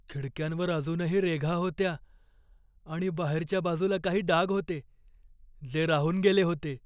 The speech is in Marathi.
खिडक्यांवर अजूनही रेघा होत्या आणि बाहेरच्या बाजूला काही डाग होते, जे राहून गेले होते.